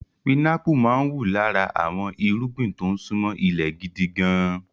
Pinápù máa ń wù lára àwọn irúgbìn tó ń ṣúnmọ́ ilẹ̀ gidi gan-an.